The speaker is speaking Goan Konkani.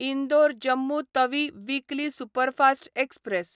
Indore Jammu Tawi weekly superfast express